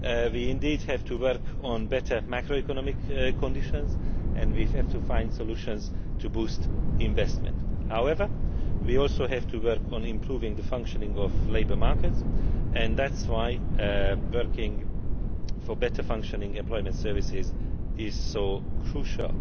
We do indeed have to work on better macroeconomic conditions and we have to find solutions to boost investment. However, we also have to work on improving the functioning of labour markets, and that is why working for better functioning employment services is so crucial.